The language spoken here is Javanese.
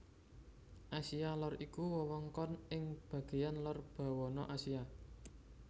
Asia Lor iku wewengkon ing bagéyan lor bawana Asia